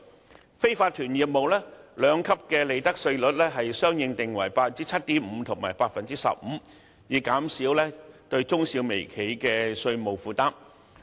至於非法團業務，兩級利得稅稅率相應定為 7.5% 和 15%， 以減輕中小微企的稅務負擔。